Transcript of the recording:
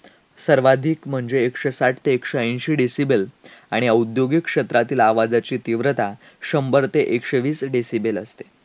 सर्वाधिक म्हणजे एकशे साठ ते एकशे एंशी decibel आणि औद्योगिक क्षेत्रातील आवाजाची तीव्रता शंभर ते एकशे वीस decibel असते.